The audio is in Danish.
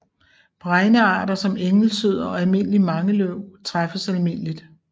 Bregnearter som engelsød og almindelig mangeløv træffes almindeligt